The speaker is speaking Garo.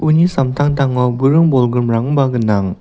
uni samtangtango buring bolgrimrangba gnang.